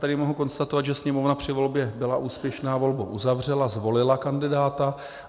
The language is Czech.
Tady mohu konstatovat, že sněmovna při volbě byla úspěšná, volbu uzavřela, zvolila kandidáta.